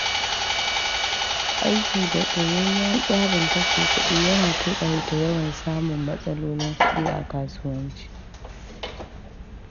Aiki da tsayayyen tsarin kashe kuɗi yana taƙaita yawan samun matsalolin kuɗi a kasuwanci.